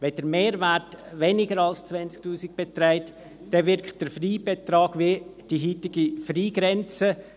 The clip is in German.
Beträgt der Mehrwert weniger als 20 000 Franken, dann wirkt der Freibetrag wie die heutige Freigrenze.